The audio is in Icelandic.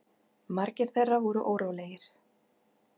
Margir þeirra voru órólegir.